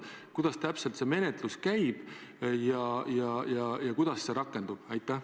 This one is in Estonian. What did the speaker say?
Kuidas täpselt see menetlus käib ja kuidas see rakendub?